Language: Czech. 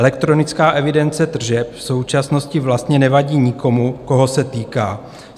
Elektronická evidence tržeb v současnosti vlastně nevadí nikomu, koho se týká.